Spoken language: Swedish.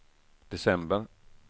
december